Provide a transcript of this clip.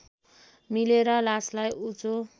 मिलेर लासलाई उँचो